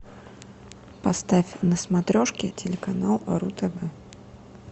поставь на смотрешке телеканал ру тв